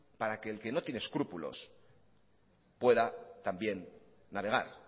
para que el que no tiene escrúpulos pueda también navegar